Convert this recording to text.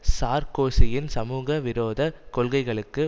சார்க்கோசியின் சமூக விரோதக் கொள்கைகளுக்கு